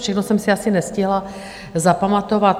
Všechno jsem si asi nestihla zapamatovat.